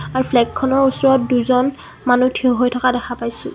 আৰু ফ্লেগখনৰ ওচৰত দুজন মানুহ থিয় হৈ থকা দেখা পাইছোঁ।